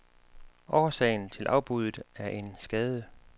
Årsagen til afbuddet er en skade.